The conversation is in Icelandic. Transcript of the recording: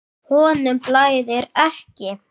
Honum blæðir ekki.